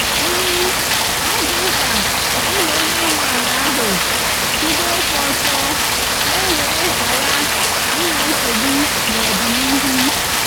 ọ dị mkpa ka anyị na onye nwe ala ahụ kwuba okwu ọtọ ka e wee ghara inwe nsogbu n’ọdịnihu.